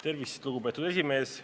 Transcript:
Tervist, lugupeetud esimees!